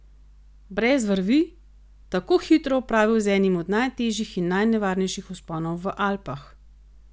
Brez vrvi, tako hitro opravil z enim od najtežjih in najnevarnejših vzponov v Alpah?